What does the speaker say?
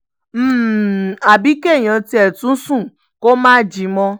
um àbí kéèyàn tiẹ̀ tún sùn kó má jí mọ́